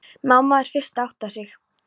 Mamma er fyrst að átta sig